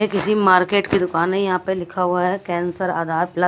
किसी मार्केट की दुकान है यहाँ पे लिखा हुआ हैकैंसर आधार प्लस --